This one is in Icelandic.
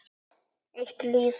Eitt líf.